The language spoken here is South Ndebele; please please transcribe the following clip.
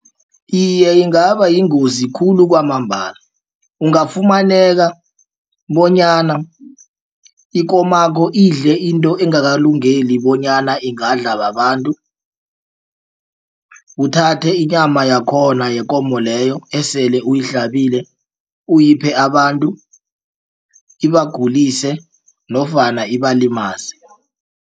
Iye, ingabayingozi khulu kwamambala ungafumaneka bonyana ikomakho idle into engakalungeli bonyana ingadla babantu. Uthathe inyama yakhona yekomo leyo esele uyihlabile uyiphe abantu ibagulise nofana ibalimaze.